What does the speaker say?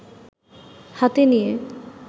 হাতে নিয়ে